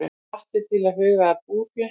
Hvattir til að huga að búfé